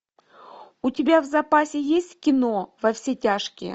у тебя в запасе есть кино во все тяжкие